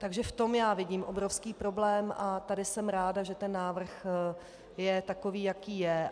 Takže v tom já vidím obrovský problém a tady jsem ráda, že ten návrh je takový, jaký je.